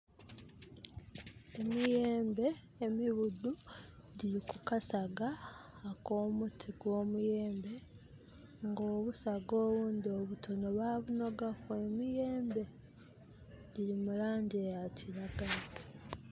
Emiyembe emibudhu gili kukasaga ak'omuti gw'omuyembe. Nga obusaga obundhi obutono babunogaku emiyembe. Giri mu laangi ya kiragala.